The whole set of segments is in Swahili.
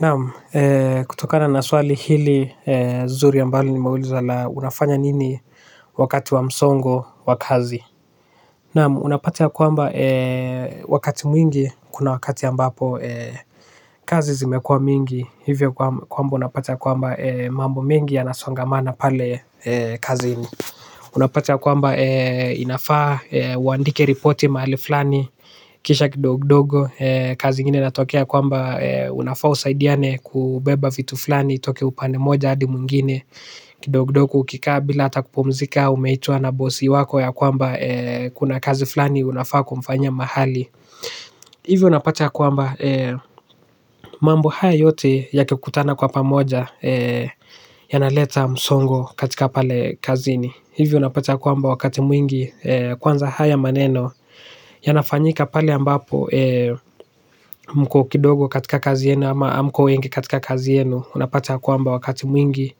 Naam, kutokana na swali hili zuri ambalo nimeulizwa la unafanya nini wakati wa msongo wa kazi. Naam, unapata kwamba wakati mwingi kuna wakati ambapo kazi zimekua mingi hivyo kwamba unapata kwamba mambo mengi yanasongamana pale kazini. Unapata ya kwamba inafaa uandike ripoti mahali fulani kisha kidogo kidogo. Kazi ingine inatokea kwamba unafaa usaidiane kubeba vitu fulani itoke upande moja hadi mwingine kidogo kidogo ukikaa bila hata kupumzika umeitwa na bosi wako ya kwamba kuna kazi fulani unafaa kumfanya mahali. Hivyo unapata ya kwamba mambo hayo yote yatokutana kwa pamoja. Yanaleta msongo katika pale kazini. Hivyo unapata kwamba wakati mwingi kwanza haya maneno yanafanyika pale ambapo mko kidogo katika kazi yenyu ama hamko wengi katika kazi yenyu, unapata ya kwamba wakati mwingi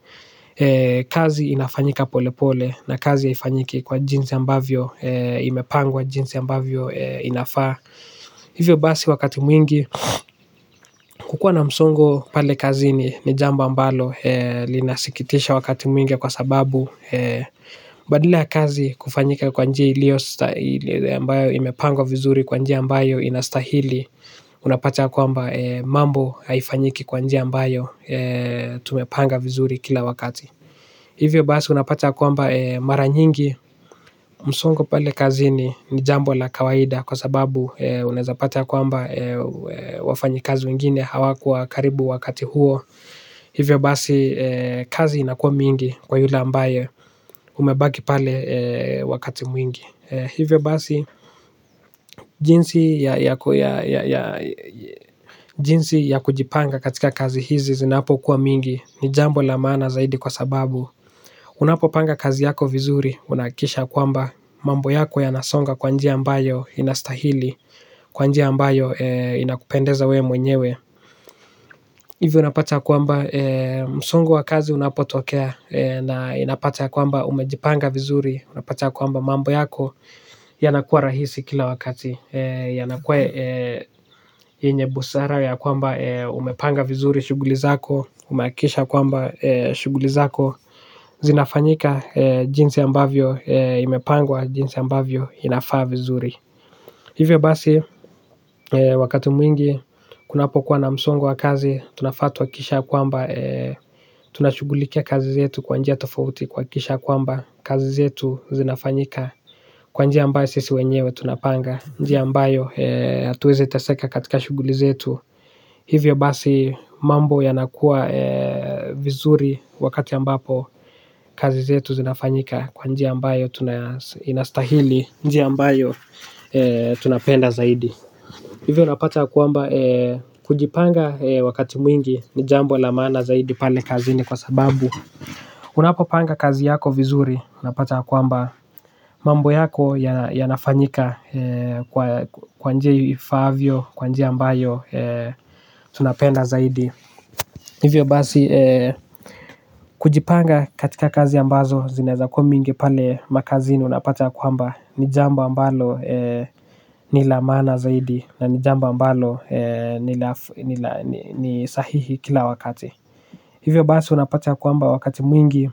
kazi inafanyika pole pole na kazi haifanyiki kwa jinsi ambavyo imepangwa, jinsi ambavyo inafaa. Hivyo basi wakati mwingi kukua na msongo pale kazini ni jambo ambalo linasikitisha wakati mwingi kwa sababu badala ya kazi kufanyika kwa njia iliyo, ile ambayo imapangwa vizuri kwa njia ambayo inastahili, unapata ya kwamba mambo haifanyiki kwa njia ambayo tumepanga vizuri kila wakati. Hivyo basi unapata kwamba mara nyingi msongo pale kazini jambo la kawaida kwa sababu unaweza pata kwamba wafanyikazi wengine hawakuwa karibu wakati huo. Hivyo basi kazi inakuwa mingi kwa yule ambaye umebaki pale wakati mwingi. Hivyo basi jinsi ya kujipanga katika kazi hizi zinapokuwa mingi. Ni jambo la maana zaidi kwa sababu, unapopanga kazi yako vizuri unahakikisha kwamba mambo yako yanasonga kwa njia ambayo inastahili, kwa njia ambayo inakupendeza we mwenyewe. Hivyo unapata kwamba msongo wa kazi unapotokea na inapata kwamba umejipanga vizuri, unapata kwamba mambo yako yanakuwa rahisi kila wakati. Yanakuwa yenye busara ya kwamba umepanga vizuri shughuli zako, umehakikisha kwamba shughuli zako zinafanyika jinsi ambavyo imepangwa, jinsi ambavyo inafaa vizuri. Hivyo basi wakati mwingi kunapokuwa na msongo wa kazi tunafatwa kisha kwamba tunashughulikia kazi zetu kwa njia tofauti kuhakikisha kwamba kazi zetu zinafanyika kwa njia ambayo sisi wenyewe tunapanga, njia ambayo tuweze teseka katika shughuli zetu. Hivyo basi mambo yanakuwa vizuri wakati ambapo kazi zetu zinafanyika kwa njia ambayo tuna, inastahili, njia ambayo tunapenda zaidi. Hivyo unapata kwamba kujipanga wakati mwingi ni jambo la maana zaidi pale kazini kwa sababu unapopanga kazi yako vizuri unapata kwamba mambo yako yanafanyika kwa njia ifaavyo, kwa njia ambayo tunapenda zaidi. Hivyo basi kujipanga katika kazi ambazo zinaweza kuwa mingi pale makazini unapata kwamba ni jambo ambalo ni la maana zaidi na ni jambo ambalo ni sahihi kila wakati. Hivyo basi unapata kwamba wakati mwingi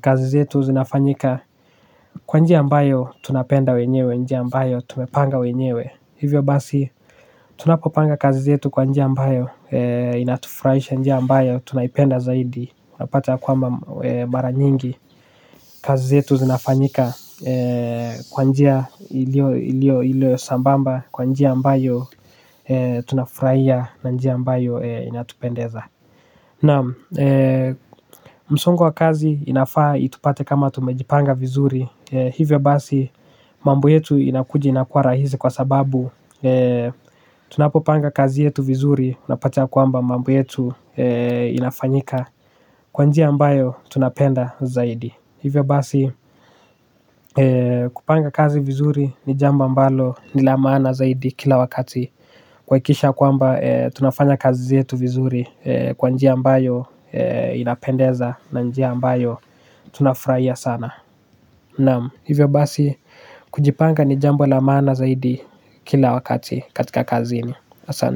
kazi zetu zinafanyika kwa njia ambayo tunapenda wenyewe, njia ambayo tumepanga wenyewe. Hivyo basi, tunapopanga kazi zetu kwa njia ambayo inatufurahisha, njia ambayo tunaipenda zaidi unapata kwamba mara nyingi kazi zetu zinafanyika kwa njia iliyo sambamba, kwa njia ambayo tunafurahia na njia ambayo inatupendeza, naam. Msongo wa kazi inafaa itupate kama tumejipanga vizuri. Hivyo basi mambo yetu inakuja inakuwa rahisi kwa sababu tunapopanga kazi yetu vizuri, unapatea kwamba mambo yetu inafanyika kwa njia ambayo tunapenda zaidi. Hivyo basi kupanga kazi vizuri ni jambo ambalo ni la maana zaidi kila wakati. Kuhakikisha kwamba tunafanya kazi yetu vizuri, kwa njia ambayo inapendeza na njia ambayo tunafurahia sana, naam. Hivyo basi kujipanga ni jambo la maana zaidi kila wakati katika kazini. Asa.